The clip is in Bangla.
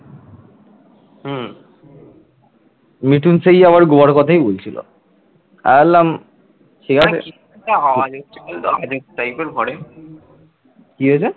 কি হয়েছে